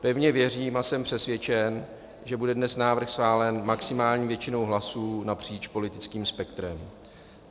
Pevně věřím a jsem přesvědčen, že bude dnes návrh schválen maximální většinou hlasů napříč politickým spektrem.